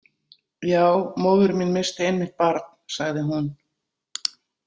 Já, móðir mín missti einmitt barn, sagði hún.